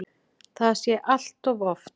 Það sé allt of oft.